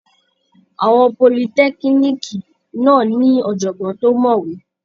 Àwọn politẹ́kíníìkì náà ní ọ̀jọ̀gbọ́n tó mọ̀wé.